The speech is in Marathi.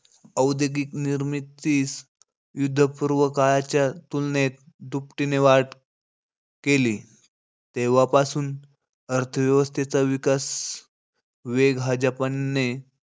औद्योगिक निर्मितीस युद्धपूर्व काळाच्या तुलनेत दुपटीने वाढ केली. तेव्हापासून अर्थव्यवस्थेचा विकास वेग हा जपानने,